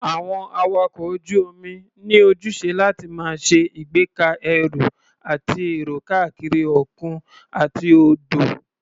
Àwọn awakọ̀ ojú-omi ní ojúṣe láti máa ṣe ìgbéka ẹrù àti èrò káàkiri òkun àti odò.